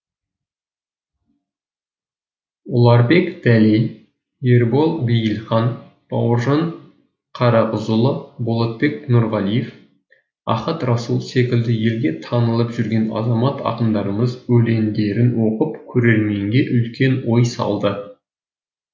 ұларбек дәлей ербол бейілхан бауыржан қарағызұлы балтабек нұрғалиев ахат расул секілді елге танылып жүрген азамат ақындарымыз өлеңдерін оқып көрерменге үлкен ой салды